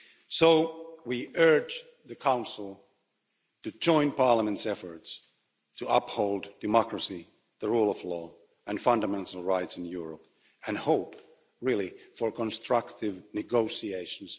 So we urge the Council to join Parliament's efforts to uphold democracy, the rule of law and fundamental rights in Europe and hope really for constructive negotiations.